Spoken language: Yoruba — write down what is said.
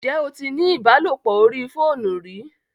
Ǹjẹ́ o tí ní ìbálòpọ̀ orí fóònù rí?